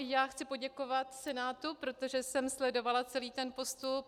I já chci poděkovat Senátu, protože jsem sledovala celý ten postup.